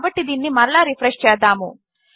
కాబట్టి దీనిని మరలా రిఫ్రెష్ చేద్దాము